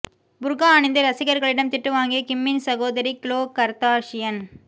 புர்கா அணிந்து ரசிகர்களிடம் திட்டு வாங்கிய கிம்மின் சகோதரி க்ளோ கர்தாஷியன்